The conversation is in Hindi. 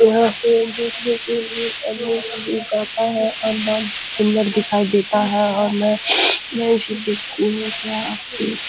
यहाँ से देखने के लिए गाता है और सूंदर दिखाई देता है और मैं मैं भी देखती हु क्या --